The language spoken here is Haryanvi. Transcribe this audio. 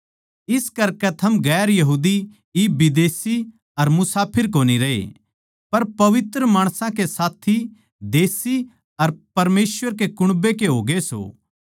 इस करकै थम गैर यहूदी इब विदेशी अर मुसाफिर कोनी रहे पर पवित्र माणसां के साथी देशी अर परमेसवर के कुण्बे के होगे सों